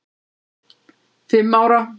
fimm ára.